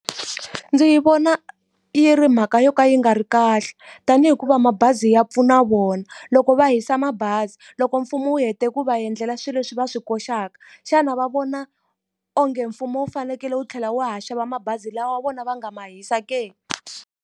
Ndzi yi vona yi ri mhaka yo ka yi nga ri kahle, ta ni hikuva mabazi ya pfuna vona. Loko va hisa mabazi, loko mfumo wu hete ku va endlela swilo leswi va swi koxaka, xana va vona onge mfumo wu fanekele wu tlhela wu ha xava mabazi lawa wa vona va nga ma hisa ke?